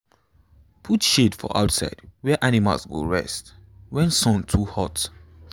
put shade for outside where animal go rest when sun too hot.